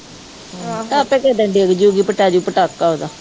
ਆਪੇ ਕਦੇ ਡਿੱਗਜੂਗੀ, ਪੈ ਜਾਊ ਪਟਾਕਾ ਉਹਦਾ